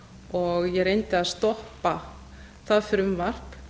og ég reyndi að stoppa það frumvarp